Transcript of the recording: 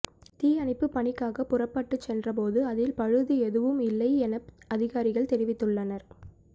தீயணைப்பு பணிக்காக புறப்பட்டு சென்றபோது அதில் பழுது எதுவும் இல்லை என அதிகாரிகள் தெரிவித்துள்ளனர்